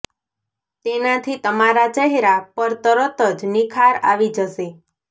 તેનાથી તમારા ચહેરા પર તરત જ નિખાર આવી જશે